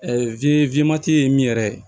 ye min yɛrɛ ye